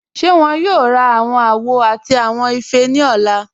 Ṣé wọn yóò rá awọn àwò àti awọn ifẹ́ ni ọ̀lá?